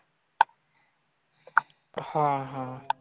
हा हा.